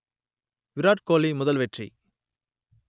விராட் கோலி முதல் வெற்றி